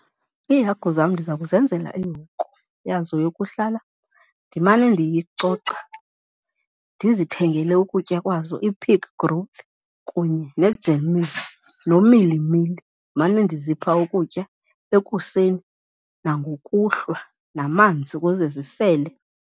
Iihagu zam ndiza kuzenzela ihoko yazo yokuhlala, ndimane ndiyicoca. Ndizithengele ukutya kwazo, i-pig growth kunye ne-germ meal nomilimili, ndimane ndizipha ukutya ekuseni nangokuhlwa namanzi ukuze zisele.